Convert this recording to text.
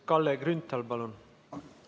Kalle Grünthal, palun!